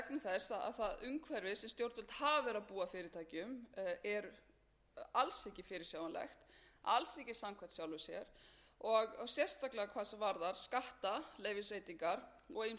þess að það umhverfi sem stjórnvöld hafa verið að búa fyrirtækjum eru alls ekki fyrirsjáanleg alls ekki samkvæm sjálfum sér og sérstaklega hvað varðar skattaleyfisveitingar og ýmsar